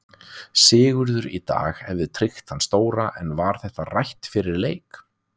Sigur í dag hefði tryggt þann stóra en var þetta rætt fyrir leik?